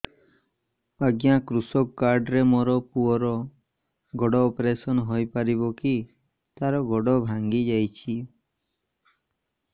ଅଜ୍ଞା କୃଷକ କାର୍ଡ ରେ ମୋର ପୁଅର ଗୋଡ ଅପେରସନ ହୋଇପାରିବ କି ତାର ଗୋଡ ଭାଙ୍ଗି ଯାଇଛ